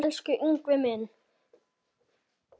Elsku Ingvi minn.